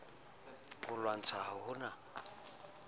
mo lwantsha ha ho na